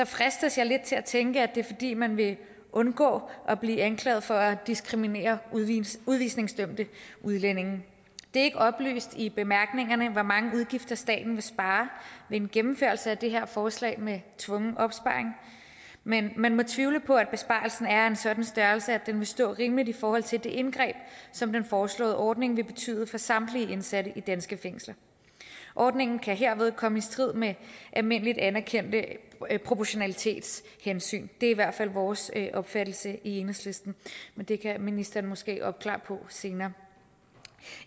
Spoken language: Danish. fristes jeg lidt til at tænke at det er fordi man vil undgå at blive anklaget for at diskriminere udvisningsdømte udlændinge det er ikke oplyst i bemærkningerne hvor mange udgifter staten vil spare ved en gennemførelse af det her forslag med tvungen opsparing men man må tvivle på at besparelsen er af en sådan størrelse at den vil stå rimeligt forhold til det indgreb som den foreslåede ordning vil betyde for samtlige indsatte i danske fængsler ordningen kan herved komme i strid med almindeligt anerkendte proportionalitetshensyn det er i hvert fald vores opfattelse i enhedslisten men det kan ministeren måske afklare senere